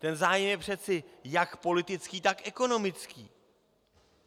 Ten zájem je přece jak politický, tak ekonomický.